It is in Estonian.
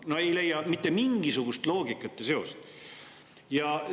No ei leia mitte mingisugust loogikat ja seost!